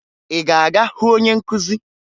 Ị ga-aga hụ onye nkụzi?